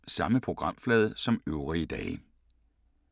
Samme programflade som øvrige dage